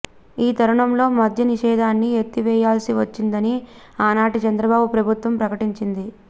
ఈ తరుణంలో మద్యనిషేధాన్ని ఎత్తివేయాల్సి వచ్చిందని ఆనాటి చంద్రబాబు ప్రభుత్వం ప్రకటించింది